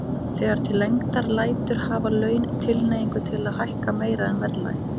Þegar til lengdar lætur hafa laun tilhneigingu til að hækka meira en verðlag.